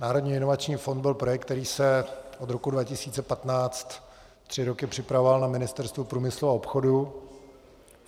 Národní inovační fond byl projekt, který se od roku 2015 tři roky připravoval na Ministerstvu průmyslu a obchodu.